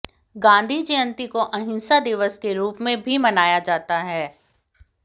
गांधी जयंती को अहिंसा दिवस के रूप में भी मनाया जाता है